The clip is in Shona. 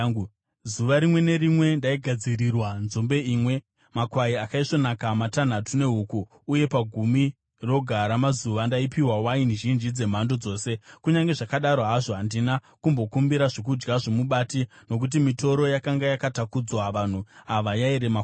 Zuva rimwe nerimwe ndaigadzirirwa nzombe imwe, makwai akaisvonaka matanhatu nehuku, uye pagumi roga ramazuva ndaipiwa waini zhinji dzemhando dzose. Kunyange zvakadaro hazvo, handina kumbokumbira zvokudya zvomubati, nokuti mitoro yakanga yakatakudzwa vanhu ava yairema kwazvo.